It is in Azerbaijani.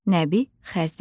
Nəbi Xəzri.